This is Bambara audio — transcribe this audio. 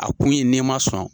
A kun ye n'i ma sɔn.